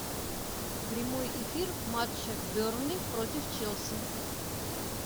прямой эфир матча бернли против челси